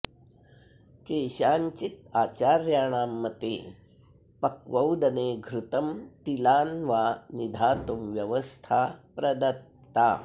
केषाञ्चित् आचार्याणां मते पक्वौदने घृतं तिलान् वा निधातुं व्यवस्था प्रदत्ता